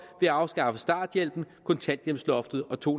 ved at afskaffe starthjælpen kontanthjælpsloftet og to